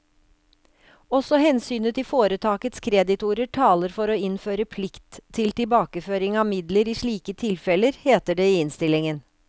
Også hensynet til foretakets kreditorer taler for å innføre plikt til tilbakeføring av midler i slike tilfeller, heter det i innstillingen.